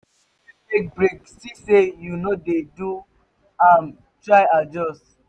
if you take break see say you no de do am try adjust